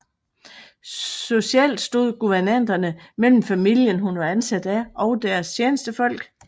Socialt stod guvernanterne mellem familien hun var ansat af og deres tjenestefolk